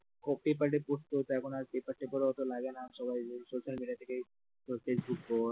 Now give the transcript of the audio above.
খুব পেপারে পড়তে হত এখন আর পেপার টেপার ওতো লাগেনা সবাই social media থেকে ধর ফেসবুক বল